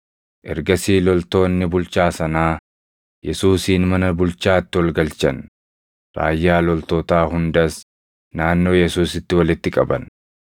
Ergasii loltoonni bulchaa sanaa Yesuusin mana bulchaatti ol galchan; raayyaa loltootaa hundas naannoo Yesuusitti walitti qaban.